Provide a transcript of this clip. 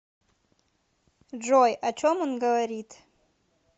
джой о чем он говорит